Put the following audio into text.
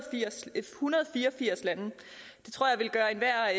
fire og firs lande det tror jeg vil gøre enhver